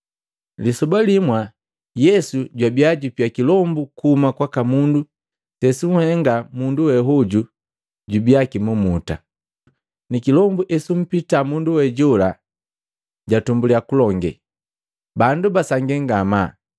Lisoba limwa Yesu jwabiya jupia kilombu kuhuma kwaka mundu sesuhengika mundu we hoju jubia kimumuta. Ni kilombu esumpita mundu we jola jatumbuliya kulonge, bandu basangii ngamaa.